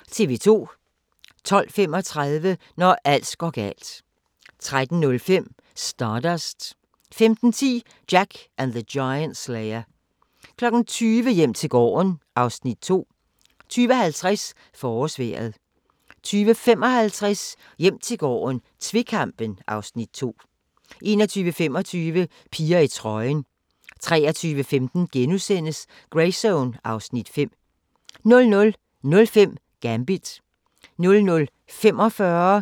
12:35: Når alt går galt 13:05: Stardust 15:10: Jack the Giant Slayer 20:00: Hjem til gården (Afs. 2) 20:50: Forårsvejret 20:55: Hjem til gården - tvekampen (Afs. 2) 21:25: Piger i trøjen 23:15: Greyzone (Afs. 5)* 00:05: Gambit 00:45: Grænsepatruljen